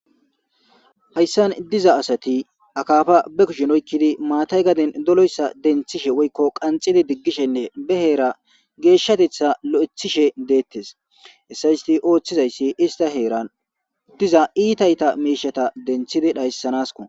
Hayssan diza asati akaafa be kushin oykkidi maatay gaden doloyssa denthishe woykko qanxidi diggishenne be heera geeshshatetha lo'ethishe deettes essa isti ooththizayssi ista heeran diza iitayta miishata denthidi dhayssanasko